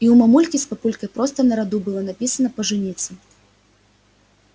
и у мамульки с папулькой просто на роду было написано пожениться